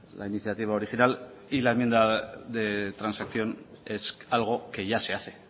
la iniciativa original y la enmienda de transacción es algo que ya se hace